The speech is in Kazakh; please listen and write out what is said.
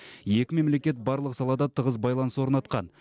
екі мемлекет барлық салада тығыз байланыс орнатқан